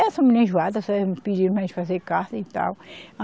Essa menina é enjoada, só vive me pedindo para a gente fazer carta e tal.